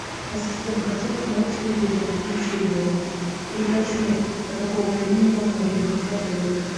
ассистент хочу посмотреть телевизор включи его и уточни до какого времени можно въехать в отель